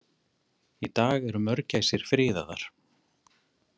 Í dag eru mörgæsir friðaðar.